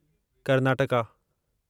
Karnataka